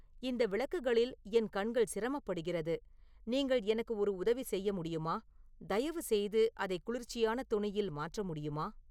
இந்த விளக்குகளில் என் கண்கள் சிரமப்படுகிறது நீங்கள் எனக்கு ஒரு உதவி செய்ய முடியுமா தயவுசெய்து அதை குளிர்ச்சியான தொனியில் மாற்ற முடியுமா